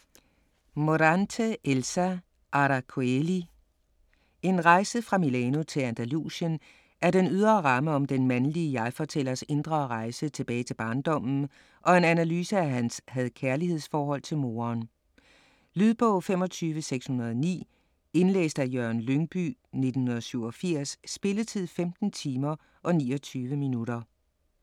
Morante, Elsa: Aracoeli En rejse fra Milano til Andalusien er den ydre ramme om den mandlige jegfortællers indre rejse tilbage til barndommen og en analyse af hans had/kærlighedsforhold til moderen. Lydbog 25609 Indlæst af Jørgen Lyngbye, 1987. Spilletid: 15 timer, 29 minutter.